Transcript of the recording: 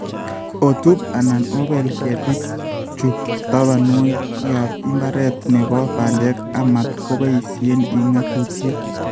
Otub anan obeel keetiik chu tabanwokikap mbareet ne po bandek, amat koboisyee eng' ng'atuutyet.